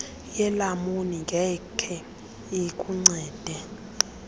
yelamuni ngeke ikuncede